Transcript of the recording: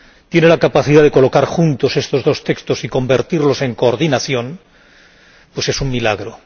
tiene la capacidad de colocar juntos estos dos textos y convertirlos en coordinación, pues es un milagro.